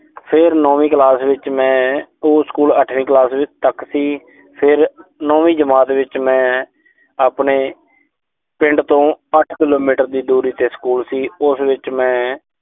ਫੇਰ ਨੌਵੀਂ ਕਲਾਸ ਵਿੱਚ ਮੈਂ। ਉਹ ਸਕੂਲ ਅੱਠਵੀਂ ਕਲਾਸ ਤੱਕ ਸੀ। ਫਿਰ ਨੌਵੀਂ ਜਮਾਤ ਵਿੱਚ ਮੈਂ ਆਪਣੇ ਪਿੰਡ ਤੋਂ ਅੱਠ ਕਿਲੋਮੀਟਰ ਦੀ ਦੂਰੀ ਤੇ ਸਕੂਲ ਸੀ। ਉਸ ਵਿੱਚ ਮੈਂ